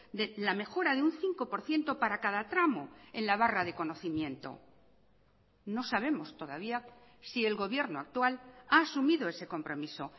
de la mejora de un cinco por ciento para cada tramo en la barra de conocimiento no sabemos todavía si el gobierno actual ha asumido ese compromiso